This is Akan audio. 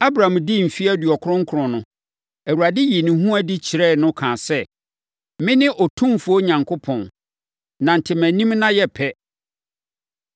Abram dii mfeɛ aduɔkron nkron no, Awurade yii ne ho adi kyerɛɛ no kaa sɛ, “Mene Otumfoɔ Onyankopɔn, nante mʼanim na yɛ pɛ.